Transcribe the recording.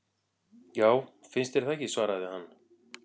Já, finnst þér það ekki svaraði hann.